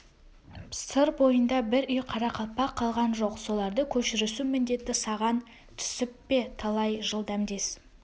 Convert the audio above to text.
сыр бойында бір үй қарақалпақ қалған жоқ соларды көшірісу міндеті саған түсіп пе талай жыл дәмдес